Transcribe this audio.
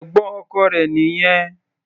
Ẹ̀gbọ́n ọkọ rẹ̀ nìyẹn.